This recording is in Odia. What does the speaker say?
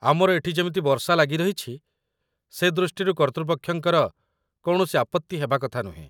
ଆମର ଏଠି ଯେମିତି ବର୍ଷା ଲାଗି ରହିଛି, ସେ ଦୃଷ୍ଟିରୁ କର୍ତ୍ତୃପକ୍ଷଙ୍କର କୌଣସି ଆପତ୍ତି ହେବା କଥା ନୁହେଁ